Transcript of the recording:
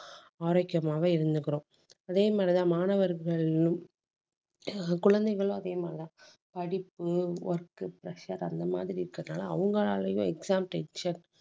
ஆரோக்கியமாக இருந்துக்கிறோம். அதே மாதிரிதான் மாணவர்களும் ஆஹ் குழந்தைகளும் அதே மாதிரிதான் படிப்பு work pressure அந்த மாதிரி இருக்கிறதுனால அவங்களாலயும் exam tension